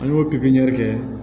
An y'o pikiri kɛ